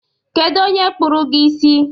Kedu onye kpụrụ gi isi?